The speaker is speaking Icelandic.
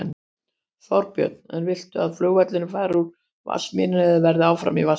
Þorbjörn: En viltu að flugvöllurinn fari úr Vatnsmýri eða verði áfram í Vatnsmýri?